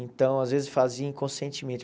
Então, às vezes, fazia inconscientemente.